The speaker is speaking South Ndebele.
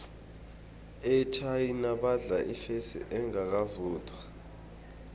enarheni yechina badla ifesi engakavuthwa